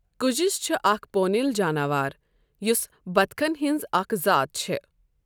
کجُس چھُ اَکھ پوٗنؠل جاناوار، یوٛس بَطخَن ہٕنٛز اکھ ذات چٕھ ۔